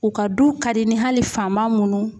U ka du ka di ni hali fama munnu